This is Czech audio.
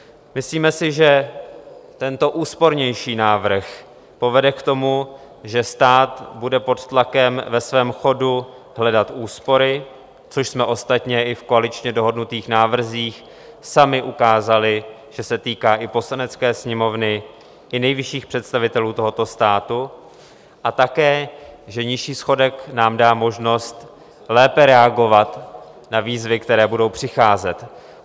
Myslíme si, že tento úspornější návrh povede k tomu, že stát bude pod tlakem ve svém chodu hledat úspory, což jsme ostatně i v koaličně dohodnutých návrzích sami ukázali, že se týká i Poslanecké sněmovny i nejvyšších představitelů tohoto státu a také že nižší schodek nám dá možnost lépe reagovat na výzvy, které budou přicházet.